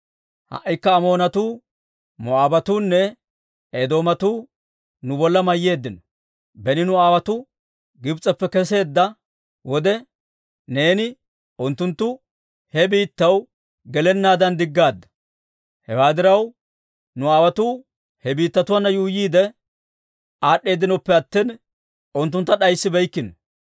«Ha"ikka Amoonatuu, Moo'aabatuunne Eedoomatuu nu bolla mayyeeddino. Beni nu aawotuu Gibs'eppe kesseedda wode, neeni unttunttu he biittatuwaa gelennaadan diggaadda; hewaa diraw, nu aawotuu he biittatuunne yuuyyiide aad'd'eedinoppe attina, unttuntta d'ayssibeykkino.